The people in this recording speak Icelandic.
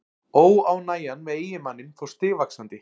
Óánægjan með eiginmanninn fór stigvaxandi.